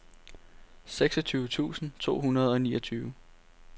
seksogtyve tusind to hundrede og niogtyve